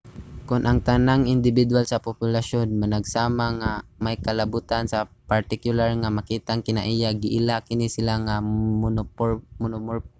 kon ang tanang indibidwal sa populasyon managsama nga may kalabotan sa partikular nga makitang kinaiya giila kini sila nga monomorphic